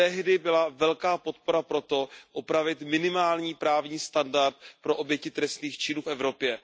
Tehdy byla velká podpora toho, aby se opravil minimální právní standard pro oběti trestných činů v Evropě.